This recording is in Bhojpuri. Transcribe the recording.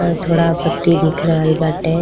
अ थोड़ा पत्ती दिख रहल बाटे।